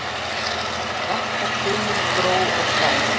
Vakna gömul gró og fræ.